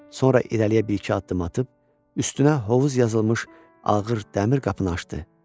Sonra irəliyə bir-iki addım atıb üstünə hovuz yazılmış ağır dəmir qapını açdı.